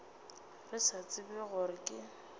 re sa tsebe gore ke